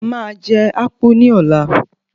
Màá jẹ Akpu ní ọ̀la.